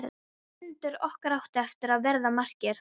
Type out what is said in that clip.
Fundir okkar áttu eftir að verða margir.